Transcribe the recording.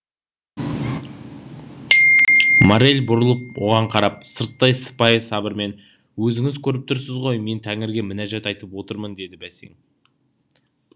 моррель бұрылып оған қарап сырттай сыпайы сабырмен өзіңіз көріп тұрсыз ғой мен тәңірге мінәжат айтып отырмын деді бәсең